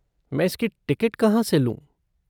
मैं इसकी टिकट कहाँ से लूँ?